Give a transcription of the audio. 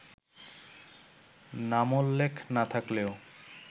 নামোল্লেখ না-থাকলেও